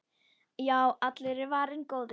Já, allur var varinn góður!